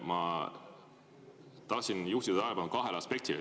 Ma tahtsin juhtida tähelepanu kahele aspektile.